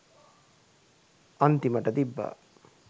අන්තිමට තිබ්බා